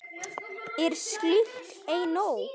Er slíkt ei nóg?